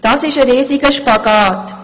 Das ist ein riesiger Spagat.